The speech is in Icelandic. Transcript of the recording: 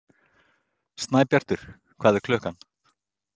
Snæbjartur, hvað er klukkan?